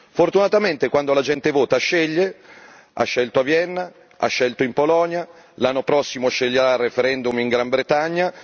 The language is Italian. Fortunatamente quando la gente vota, sceglie ha scelto a Vienna, ha scelto in Polonia, l'anno prossimo sceglierà al referendum in Gran Bretagna.